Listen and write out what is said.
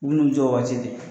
U bu n'u jɔ o waati dɛ